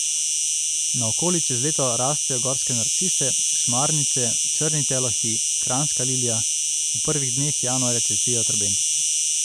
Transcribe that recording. Naokoli čez leto rastejo gorske narcise, šmarnice, črni telohi, kranjska lilija, v prvih dneh januarja cvetijo trobentice.